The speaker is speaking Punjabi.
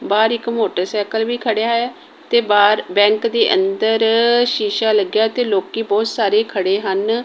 ਬਾਹਰ ਇੱਕ ਮੋਟਰਸਾਈਕਲ ਵੀ ਖੜਿਆ ਹੈ ਤੇ ਬਾਹਰ ਬੈਂਕ ਦੇ ਅੰਦਰ ਸ਼ੀਸ਼ਾ ਲੱਗਿਆ ਤੇ ਲੋਕੀ ਬਹੁਤ ਸਾਰੇ ਖੜੇ ਹਨ।